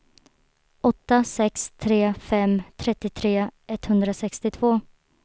åtta sex tre fem trettiotre etthundrasextiotvå